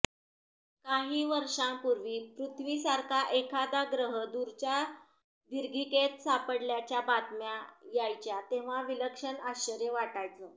काही वर्षांपूर्वी पृथ्वीसारखा एखादा ग्रह दूरच्या दीर्घिकेत सापडल्याच्या बातम्या यायच्या तेव्हा विलक्षण आश्चर्य वाटायचं